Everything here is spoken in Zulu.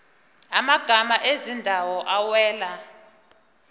amagama ezindawo awela